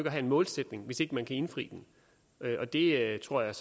at have en målsætning hvis ikke man kan indfri den og det tror jeg